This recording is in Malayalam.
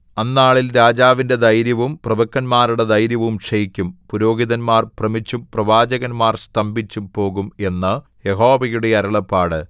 അന്നാളിൽ രാജാവിന്റെ ധൈര്യവും പ്രഭുക്കന്മാരുടെ ധൈര്യവും ക്ഷയിക്കും പുരോഹിതന്മാർ ഭ്രമിച്ചും പ്രവാചകന്മാർ സ്തംഭിച്ചും പോകും എന്ന് യഹോവയുടെ അരുളപ്പാട്